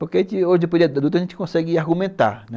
Porque depois da luta a gente consegue argumentar, né?